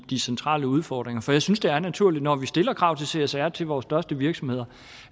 de centrale udfordringer for jeg synes det er naturligt når vi stiller krav til csr til vores største virksomheder